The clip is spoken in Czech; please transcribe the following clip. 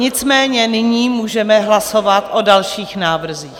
Nicméně nyní můžeme hlasovat o dalších návrzích.